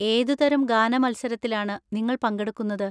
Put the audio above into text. ഏതുതരം ഗാനമത്സരത്തിലാണ് നിങ്ങൾ പങ്കെടുക്കുന്നത്?